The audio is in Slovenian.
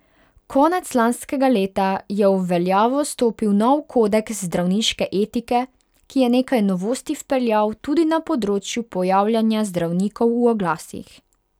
Konec lanskega leta je v veljavo stopil nov kodeks zdravniške etike, ki je nekaj novosti vpeljal tudi na področju pojavljanja zdravnikov v oglasih.